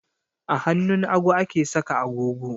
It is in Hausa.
A hannun hagu ake saka agogo